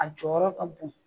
A jɔyɔrɔ ka bon